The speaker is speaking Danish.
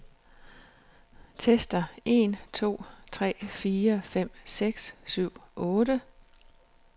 Tester en to tre fire fem seks syv otte.